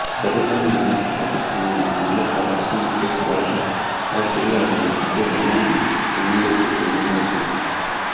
ọdúnlami ni akitiyan àwọn ọlọpàá ṣì ń tẹsíwájú láti rí àwọn agbébọn náà mú kí wọn lè fojú winá òfin